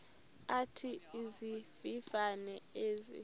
athi izivivane ezi